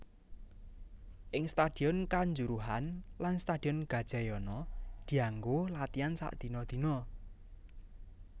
Ing Stadion Kanjuruhan lan Stadion Gajayana dianggo latihan sakdina dina